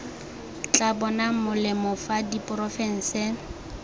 tla bonang molemo fa diporofense